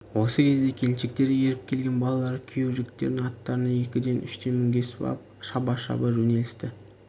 осы кезде келіншектерге еріп келген балалар күйеу жігіттердің аттарына екіден үштен мінгесіп ап шаба-шаба жөнелісті